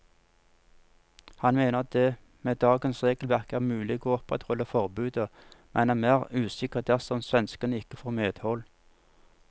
Han mener det med dagens regelverk er mulig å opprettholde forbudet, men er mer usikker dersom svenskene ikke får medhold.